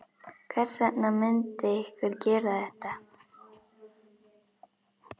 Hvers vegna myndi einhver gera þetta?